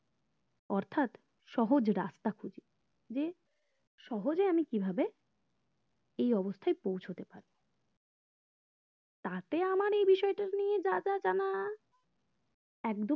অর্থাৎ সহজে রাস্তা খুঁজি যে সহজে আমি কিভাবে এই অবস্থায় পৌঁছতে পারি তাতে আমার এই বিষয়টা নিয়ে যা যা জানা একদম